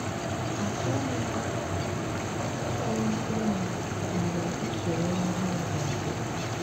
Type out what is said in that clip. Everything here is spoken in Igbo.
Achọghị m ịnwụ mgbe usoro ihe ọhụrụ ga-abịa.